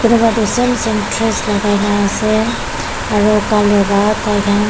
same same dress lakai na ase aro Colour pra taikhan--